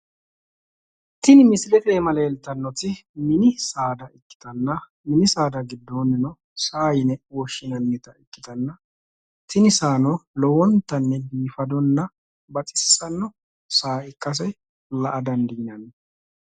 tini misilete aana leeltannoti mini saada ikkitanna mini saada giddoonnino saa yine woshshinannita ikkitanna tini saano lowontanni biifadonna baxissanno saa ikkase la'a dandiinanni